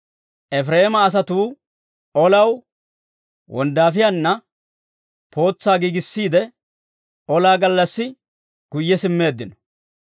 Efireema asatuu, olaw, wonddaafiyaanna pootsaa giigissiide, olaa gallassi guyye simmeeddino.